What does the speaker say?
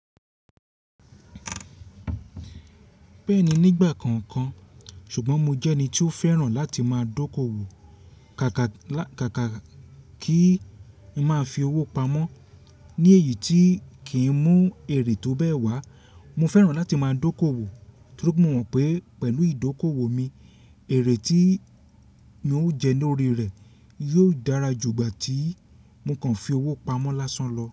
Bẹ́ẹ̀ni nígbà kọ̀ọ̀kan ṣùgbọ́n mo jẹ́ ẹni tí ó fẹ́ràn láti máa dókòwò káàkà káàkà kí ń máa fi owó pamọ́ ní èyí tí kì í mú èrè tó bẹ́ẹ̀ wá. Mo fẹ́ràn láti máa dókòwò torí mo mọ̀ pé pẹ̀lú ìdókòwò mi, èrè tí mo ń jẹ lórí rẹ̀ yóò dára jù igba tí mo kàn fi owó pamọ́ lásán lọ.